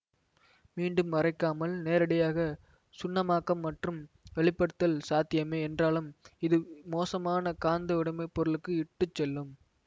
மீண்டும் அரைக்காமல் நேரடியாக சுண்ணமாக்கம் மற்றும் வெப்பப்படுத்தல் சாத்தியமே என்றாலும் இது மோசமான காந்த உடைமைப்பொருளுக்கு இட்டு செல்லும்